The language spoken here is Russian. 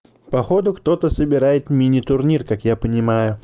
походу кто-то собирает мини турнир как я понимаю